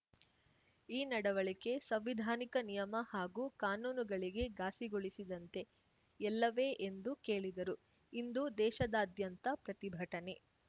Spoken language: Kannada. ಈ ನಡವಳಿಕೆ ಸಂವಿಧಾನಿಕ ನಿಯಮ ಹಾಗೂ ಕಾನೂನುಗಳಿಗೆ ಘಾಸಿಗೊಳಿಸಿದಂತೆ ಎಲ್ಲವೇ ಎಂದು ಕೇಳಿದರು ಇಂದು ದೇಶದಾದ್ಯಂತ ಪ್ರತಿಭಟನೆ